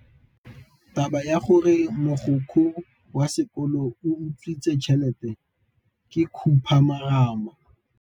Taba ya gore mogokgo wa sekolo o utswitse tšhelete ke khupamarama.